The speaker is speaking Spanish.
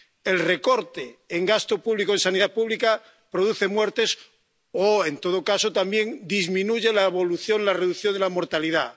El recorte en gasto público y en sanidad pública produce muertes o, en todo caso, también disminuye la reducción de la mortalidad.